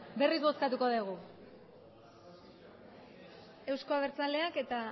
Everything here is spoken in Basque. berriz bozkatuko dugu euzko abertzaleak eta